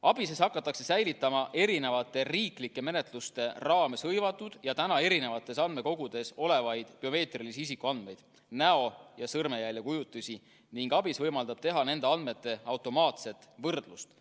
ABIS-es hakatakse säilitama eri riiklike menetluste raames hõivatud ja täna eri andmekogudes olevaid biomeetrilisi isikuandmeid, näo- ja sõrmejäljekujutisi, ning ABIS võimaldab teha nende andmete automaatset võrdlust.